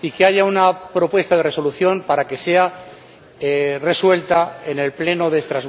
y que haya una propuesta de Resolución para que sea resuelta en el Pleno de Estrasburgo próximo.